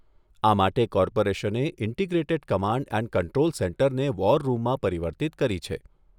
આ માટે કોર્પોરેશને ઇન્ટીગ્રેટેડ કમાન્ડ એન્ડ કન્ટ્રોલ સેન્ટરને વોર રૂમમાં પરિવર્તિત કરી છે.